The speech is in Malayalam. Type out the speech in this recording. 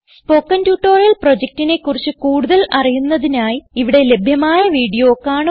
സ്പോകെൻ ട്യൂട്ടോറിയൽ പ്രൊജക്റ്റിനെ കുറിച്ച് കൂടുതൽ അറിയുന്നതിനായി ഇവിടെ ലഭ്യമായ വീഡിയോ കാണുക